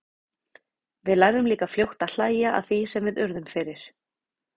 Við lærðum líka fljótt að hlæja að því sem við urðum fyrir.